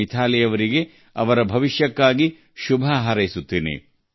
ಮಿಥಾಲಿ ಅವರಿಗೆ ಭವ್ಯ ಭವಿಷ್ಯಕ್ಕಾಗಿ ನಾನು ಶುಭ ಹಾರೈಸುತ್ತೇನೆ